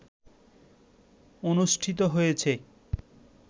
অনুষ্ঠিত হয়েছে